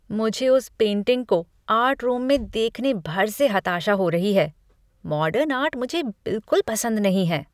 मुझे उस पेंटिंग को आर्ट रूम में देखने भर से हताशा हो रही है, मॉडर्न आर्ट मुझे बिलकुल पसंद नहीं है।